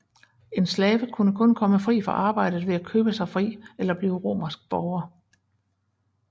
En slave kunne kun komme fri fra arbejdet ved at købe sig fri eller blive romersk borger